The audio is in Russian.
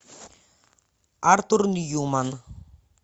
артур ньюман